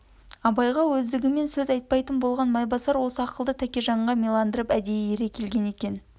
абайға өздігімен сөз айтпайтын болған майбасар осы ақылды тәкежанға миландырып әдейі ере келген екен